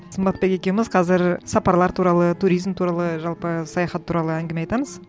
сымбатбек екеуіміз қазір сапарлар туралы туризм туралы жалпы саяхат туралы әңгіме айтамыз